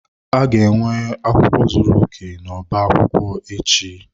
A ga-enwe akwụkwọ zuru oke n'ọba akwụkwọ echi.